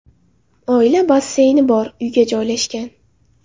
Oila basseyni bor uyga joylashgan.